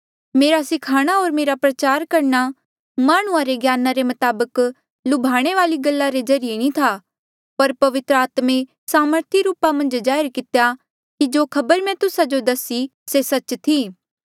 मेरा सिखाणा होर मेरा प्रचार करणा माह्णुंआं रे ज्ञाना रे मताबक लुभाणे वाली गल्ला रे ज्रीए नी था पर पवित्र आत्मे सामर्थी रूपा किन्हें जाहिर कितेया कि जो खबर मैं तुस्सा जो दसी से सच्च थी